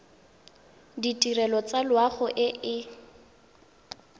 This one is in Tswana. ditirelo tsa loago e e